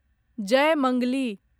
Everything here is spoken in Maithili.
जयमंगली